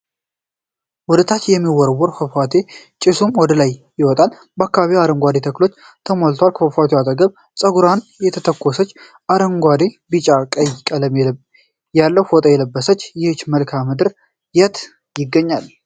ወደ ታች የሚወርድ ፏፏቴ ጭሱም ወደላይ ይወጣል፤ አካባቢውም በአረንጓዴ ተክሎች ተሞልቷል ከፏፏቴው አጠገብ ጸጉሯን የተተኮሰች ፣አረንጓዴ፣ ቢጫ አና ቀይ ቀለም ያለው ፎጣ ለብሳለች። ይህ መልክአምድር የት ይገኛል?